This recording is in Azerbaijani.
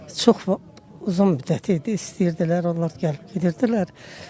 Çox uzun müddət idi, istəyirdilər, onlar gəlib gedirdilər.